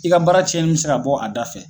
I ka baara cɛnni min se ka bɔ a da fɛ